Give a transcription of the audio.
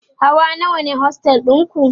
Hawa nawa ne ostel ɗinku?